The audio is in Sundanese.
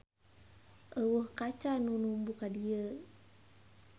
Euweuh kaca nu numbu ka dieu.